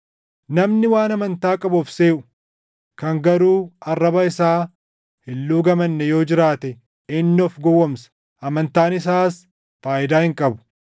Namni waan amantaa qabu of seʼu, kan garuu arraba isaa hin luugamanne yoo jiraate inni of gowwoomsa; amantaan isaas faayidaa hin qabu.